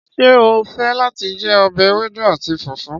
Ṣé ó fẹ́ láti jẹ ọbẹ̀ ewédú àti fùfú?